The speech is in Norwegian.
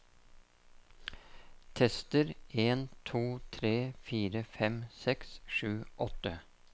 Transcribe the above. Tester en to tre fire fem seks sju åtte